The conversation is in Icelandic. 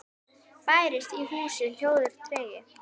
Bærist í húsi hljóður tregi.